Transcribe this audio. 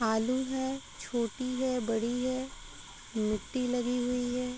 आलू है। छोटी है। बड़ी है। मिट्टी लगी हुई है।